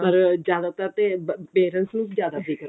ਪਰ ਜ਼ਿਆਦਾਤਰ ਤੇ parents ਨੂੰ ਜ਼ਿਆਦਾ ਫਿਕਰ ਹੋਇਆ